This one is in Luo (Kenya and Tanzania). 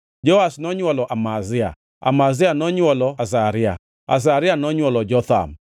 Joash nonywolo Amazia, Amazia nonywolo Azaria, Azaria nonywolo Jotham,